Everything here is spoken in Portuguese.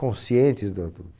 Conscientes da do